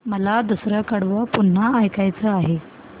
मला दुसरं कडवं पुन्हा ऐकायचं आहे